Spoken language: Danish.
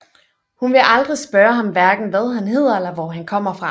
Hun vil aldrig spørge ham hverken hvad han hedder eller hvor han kommer fra